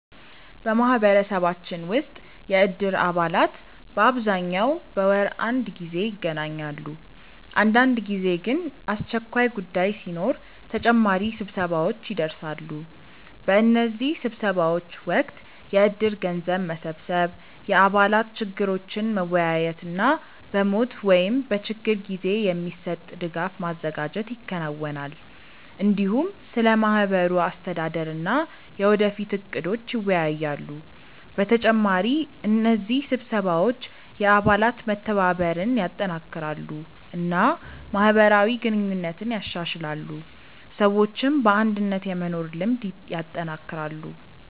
በማህበረሰባችን ውስጥ የእድር አባላት በአብዛኛው በወር አንድ ጊዜ ይገናኛሉ። አንዳንድ ጊዜ ግን አስቸኳይ ጉዳይ ሲኖር ተጨማሪ ስብሰባዎች ይደርሳሉ። በእነዚህ ስብሰባዎች ወቅት የእድር ገንዘብ መሰብሰብ፣ የአባላት ችግሮችን መወያየት እና በሞት ወይም በችግር ጊዜ የሚሰጥ ድጋፍ ማዘጋጀት ይከናወናል። እንዲሁም ስለ ማህበሩ አስተዳደር እና የወደፊት እቅዶች ይወያያሉ። በተጨማሪ እነዚህ ስብሰባዎች የአባላት መተባበርን ያጠናክራሉ እና ማህበራዊ ግንኙነትን ያሻሽላሉ፣ ሰዎችም በአንድነት የመኖር ልምድ ያጠናክራሉ።